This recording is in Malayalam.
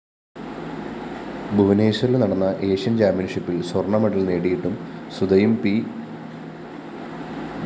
ഭൂവനേശ്വറില്‍ നടന്ന ഏഷ്യന്‍ ചാമ്പ്യന്‍ഷിപ്പില്‍ സ്വര്‍ണമെഡല്‍ നേടിയിട്ടും സുധയും പി